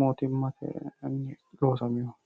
mootimatenni loosaminoho